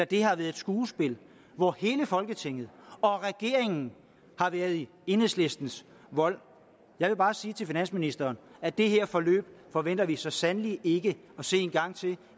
det har været et skuespil hvor hele folketinget og regeringen har været i enhedslistens vold jeg vil bare sige til finansministeren at det her forløb forventer vi så sandelig ikke at se en gang til